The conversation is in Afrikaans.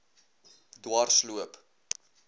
dwarsloop